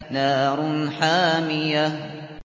نَارٌ حَامِيَةٌ